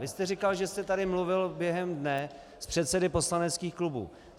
Vy jste říkal, že jste tady mluvil během dne s předsedy poslaneckých klubů.